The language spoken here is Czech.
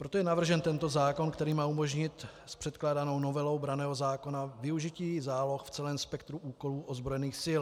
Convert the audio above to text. Proto je navržen tento zákon, který má umožnit s předkládanou novelou branného zákona využití záloh v celém spektru úkolů ozbrojených sil.